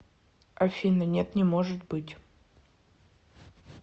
афина нет не может быть